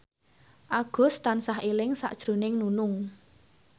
Agus tansah eling sakjroning Nunung